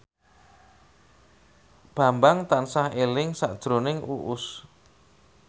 Bambang tansah eling sakjroning Uus